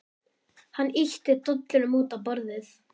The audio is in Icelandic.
Hann ýtti dollunum út á borðið.